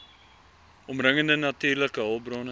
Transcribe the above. omringende natuurlike hulpbronne